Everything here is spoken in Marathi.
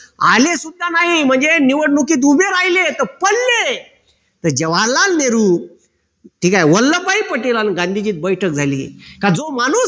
आले सुद्धा नाही म्हणजे निवडणुकीत उभे राहिले तर पडले तर जवाहरलाल नेहरू ठीक आहे वल्लभभाई पटेल अन गांधीजीत बैठक झाली. का जो माणूस